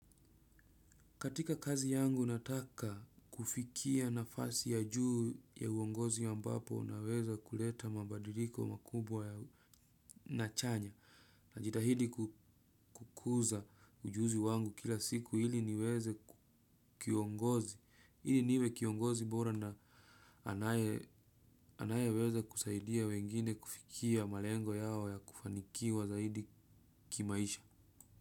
Katika kazi yangu nataka kufikia nafasi ya juu ya uongozi ambapo naweza kuleta mabadiliko makubwa na chanya. Najitahidi kukuza ujuzi wangu kila siku ili niwe kiongozi bora na anaye weza kusaidia wengine kufikia malengo yao ya kufanikiwa zaidi kimaisha.